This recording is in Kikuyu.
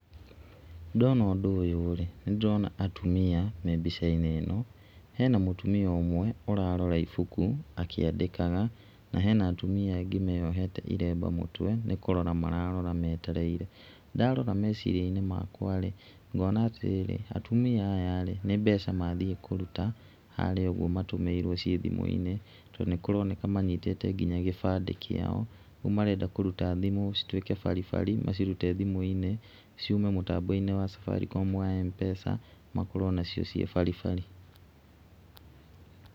Ndona ũndũ ũyũ rĩ, nĩ ndĩrona atumia me mbica-inĩ ĩno, hena mũtumia ũmwe ũrarora ibuku akĩandĩkaga, na hena atumia angĩ meyohete irembe mũtwe nĩ kũrora mararora metereire, ndarora meciria-inĩ makwa rĩ, ngona atumia aya rĩ nĩ mbeca mathiĩ kũruta harĩa ũguo matũmĩirwo ciĩ thimũ-inĩ, tondũ nĩ kũroneka manyitĩte kinya ibandĩ ciao. Ũguo marenda kũruta thimũ cituĩke baribari, macirute thimũ-inĩ, ciume mũtambo wa Safaricom wa M-pesa, makorwo nacio ciĩ baribari.